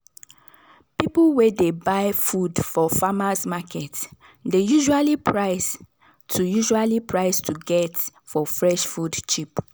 people wey dey buy food for farmers' market dey usually price to usually price to get for fresh food cheap.